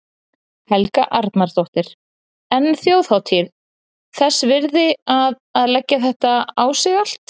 Helga Arnardóttir: En þjóðhátíð þess virði að, að leggja þetta á sig allt?